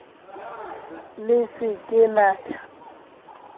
le se ke la ya